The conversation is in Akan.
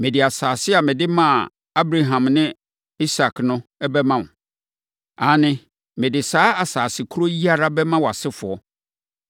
Mede asase a mede maa Abraham ne Isak no bɛma wo. Aane, mede saa asase korɔ yi ara bɛma wʼasefoɔ.”